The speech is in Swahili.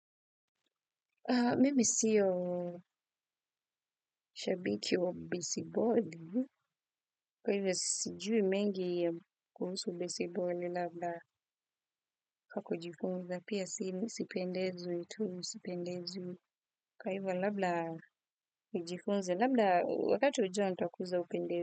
Mimi siyo shabiki wa besiboli, kwa hivyo sijui mengi ya kuhusu besiboli, labda kwa kujifunza, pia si misipendezwi tu, mi sipendezwi, kwa hivyo labda nijifunze, labda wakati ujao ntakuza upendezi.